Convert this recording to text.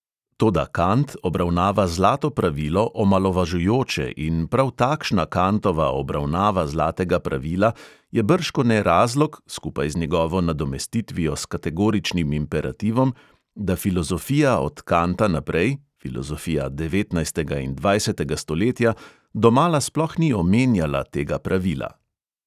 Toda kant obravnava zlato pravilo omalovažujoče in prav takšna kantova obravnava zlatega pravila je bržkone razlog, skupaj z njegovo nadomestitvijo s kategoričnim imperativom, da filozofija od kanta naprej, filozofija devetnajstega in dvajsetega stoletja, domala sploh ni omenjala tega pravila.